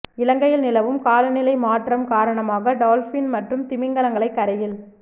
இலங்கையில் நிலவும் காலநிலை மாற்றம் காரணமாக டொல்பின் மற்றும் திமிங்கிலங்களை கரையில்